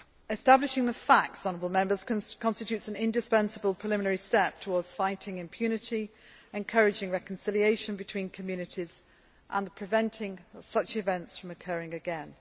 Establishing the facts constitutes an indispensable preliminary step towards fighting impunity, encouraging reconciliation between communities and preventing such events from occurring again.